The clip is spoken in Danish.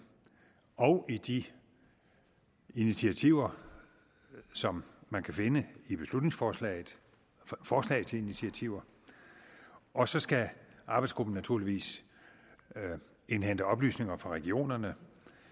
og i de initiativer som man kan finde i beslutningsforslagets forslag til initiativer og så skal arbejdsgruppen naturligvis indhente oplysninger fra regionerne